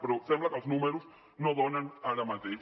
però sembla que els números no donen ara mateix